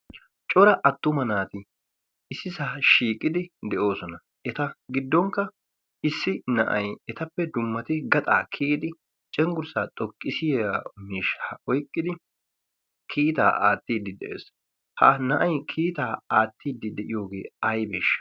cora attuma naati issi saa shiiqidi de7oosona eta giddonkka issi na7ai etappe dummati gaxaa kiyidi cenggurssaa xoqqisiya miisha oiqqidi kiitaa aattiiddi de7ees ha na7ai kiitaa aattiiddi de7iyoogee ai beesh